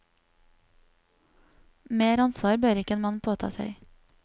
Mer ansvar bør ikke en mann påta seg.